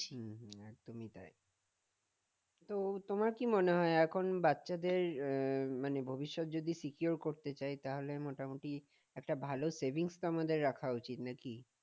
তো তোমার কি মনে হয় এখন বাচ্চাদের আহ মানে ভবিষ্যৎ যদি secure করতে চাই তাহলে মোটামুটি একটা ভালো মোটামুটি savings তো আমাদের রাখা উচিত নাকি?